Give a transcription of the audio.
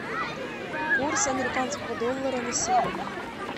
курс американского доллара на сегодня